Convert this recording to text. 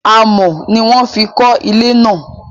Amọ̀ ni wọ́n fi kọ́ ilé náà